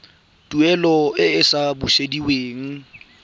tuelo e e sa busediweng